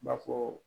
B'a fɔ